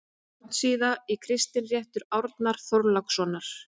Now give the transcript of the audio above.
járnsíða og kristinréttur árna þorlákssonar